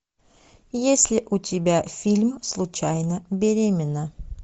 есть ли у тебя фильм случайно беременна